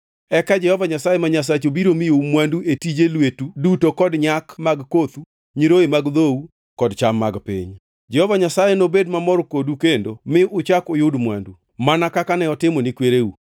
Eka Jehova Nyasaye ma Nyasachu biro miyou mwandu e tije lweteu duto kod nyak mag kothu, nyiroye mag dhou kod cham mag piny. Jehova Nyasaye nobed mamor kodu kendo mi uchak uyud mwandu, mana kaka ne otimo ne kwereu,